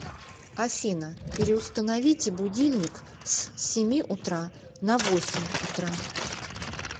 афина переустановите будильник с семи утра на восемь утра